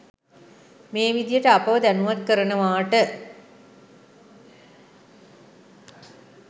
මේ විදිහට අපව දැනුවත් කරනවාට